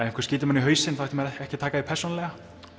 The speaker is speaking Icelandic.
einhver skyti mann í hausinn þá ætti maður ekki að taka því persónulega